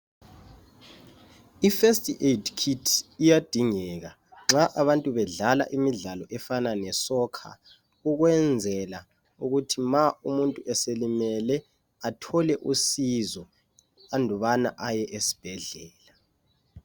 IFirst aid kit iyadingeka nxa abantu bedlala imidlalo efana le sokha ukwenzela ukuthi nxa umuntu eselimele athole usizo andubana eye esibhedlela.